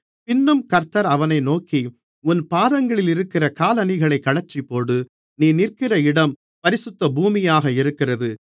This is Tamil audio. பின்னும் கர்த்தர் அவனை நோக்கி உன் பாதங்களிலிருக்கிற காலணிகளைக் கழற்றிப்போடு நீ நிற்கிற இடம் பரிசுத்த பூமியாக இருக்கிறது